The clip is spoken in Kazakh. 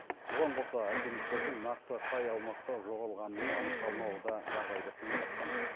бұған қоса альпинистердің нақты қай аумақта жоғалғанының анықталмауы да жағдайды қиындатқан